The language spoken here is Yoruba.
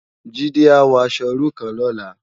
Jide á wò aṣò irú kán lòlá